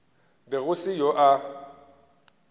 be go se yo a